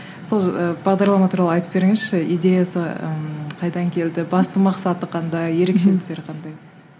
сол бағдарлама туралы айтып беріңізші идеясы ыыы қайдан келді басты мақсаты қандай ерекшеліктері қандай